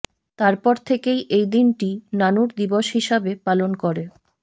তারপর থেকেই এই দিনটি নানুর দিবস হিসাবে পালন করে